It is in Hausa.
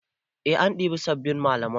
Eh an ɗibi sabbin malamai.